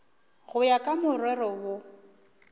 go ya ka morero wo